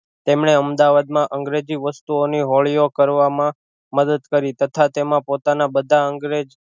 તેમણે અમદાવાદ માં અંગ્રેજી વસ્તુઓની હોળી ઑ કરવામાં મદદ કરી તથા તેમાં પોતાના બધા અંગ ને